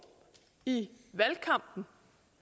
i valgkampen